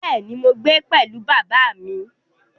Bẹ́ẹ̀ ni, mò ń gbé pẹ̀lú bàbá mi